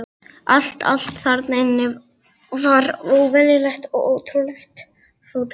Allt, allt þarna inni var óvenjulegt og ótrúlega fallegt.